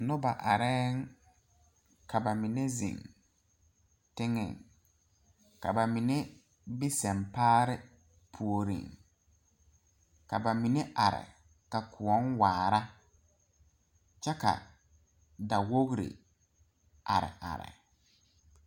Nobɔ arɛɛŋ ka ba mine zeŋ teŋɛ ka ba mine be sempaare puoriŋ ka ba mine are kaa kõɔŋ waara kyɛ ka da wogre are are.